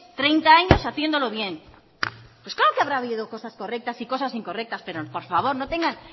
treinta años haciéndolo bien pues claro que habrá habido cosas correctas y cosas incorrectas pero por favor no tengan